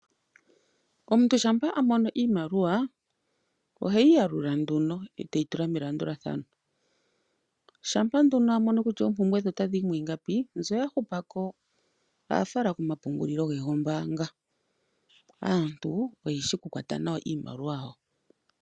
Omuntu shampa a mono iimaliwa oheyi ya lula nduno eteyi tula melandulathano, shampa nduno a mono kutya oompumbwe dhe ota dhiyi mwiingapi mbyo ya hupako oha fala komapungulilo ge gombaanga. Aantu oye shi oku kwata nawa iimaliwa yawo.